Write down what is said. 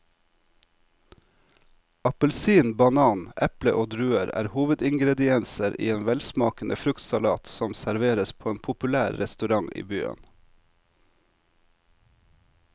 Appelsin, banan, eple og druer er hovedingredienser i en velsmakende fruktsalat som serveres på en populær restaurant i byen.